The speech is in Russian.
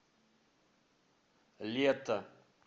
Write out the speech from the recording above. лето